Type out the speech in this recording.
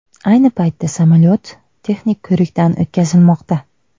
Ayni paytda samolyot texnik ko‘rikdan o‘tkazilmoqda.